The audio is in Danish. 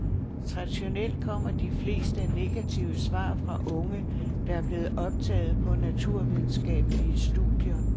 Traditionelt kommmer de fleste negative svar fra unge, der er blevet optaget på naturvidenskabelige studier.